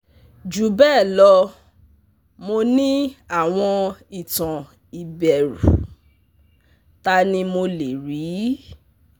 Jubelo, mo ni awon itan iberu? Tani mo le ri?